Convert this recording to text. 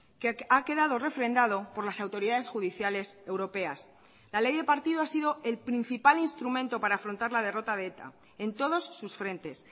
que ha quedado refrendado por las autoridades judiciales europeas la ley de partido ha sido el principal instrumento para afrontar la derrota de eta en todos sus frentes